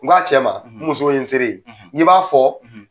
N ko a cɛ ma n muso ye n sere ye n k'i b'a fɔ